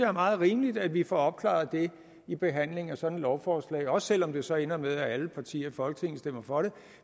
er meget rimeligt at vi får opklaret det i behandlingen af sådan et lovforslag også selv om det så ender med at alle partier i folketinget stemmer for det